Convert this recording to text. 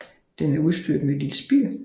Den er udstyrret med et lille spir